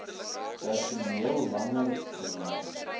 personeel langer geneem